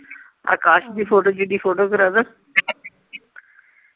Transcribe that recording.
ਅਕਾਸ਼ ਦੀ photo ਜਿੱਡੀ photo ਕਰਾਦਾ